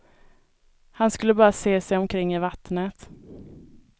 Han skulle bara se sig omkring i vattnet.